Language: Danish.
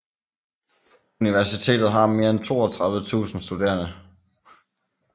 Universitetet har mere end 32 000 studerende